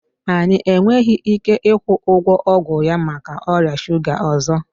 Anyị enweghị ike ịkwụ ụgwọ ọgwụ ya maka ọrịa shuga ọzọ